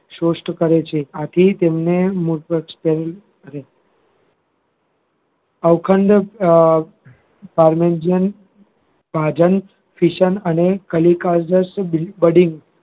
શોષણ કરે છે આથી તેમને અવખંડન અ fission અને કલિકા just budding